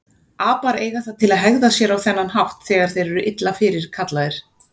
Apar eiga það til að hegða sér á þennan hátt þegar þeir eru illa fyrirkallaðir.